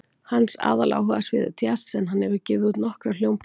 Hans aðaláhugasvið er djass en hann hefur gefið út nokkrar hljómplötur.